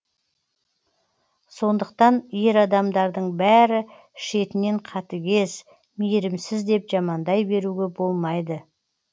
сондықтан ер адамдардың бәрі шетінен қатыгез мейірімсіз деп жамандай беруге болмайды